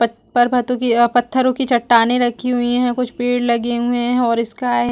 पड़ पारभत्तो की अ पत्थरॊ की चट्टाने रखी हुई है कुछ पेड़ लगे हुई है और इसका हैं